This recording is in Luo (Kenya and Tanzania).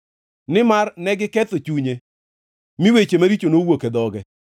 nimar negiketho chunye mi weche maricho nowuok e dhoge.